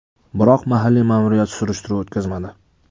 Biroq mahalliy ma’muriyat surishtiruv o‘tkazmadi.